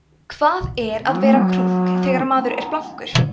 hvað er að vera krunk þegar maður er blankur